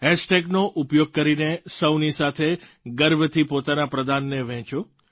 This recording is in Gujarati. હૅશ ટૅગનો ઉપયોગ કરીને સૌની સાથે ગર્વથી પોતાના પ્રદાનને વહેંચો